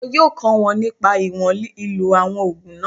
Wọn yóò kọ́ wọn nípa ìwọ̀n ìlò àwọn ògùn náà